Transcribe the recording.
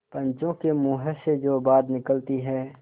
पंचों के मुँह से जो बात निकलती है